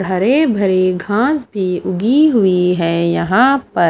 हरे-भरे घास भी उगी हुई है यहां पर।